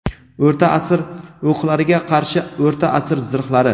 O‘rta asr o‘qlariga qarshi o‘rta asr zirhlari.